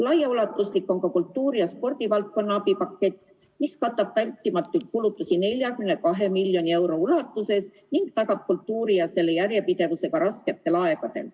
Laiaulatuslik on ka kultuuri- ja spordivaldkonna abipakett, mis katab vältimatuid kulutusi 42 miljoni euro ulatuses ning tagab kultuuri ja selle järjepidevuse ka rasketel aegadel.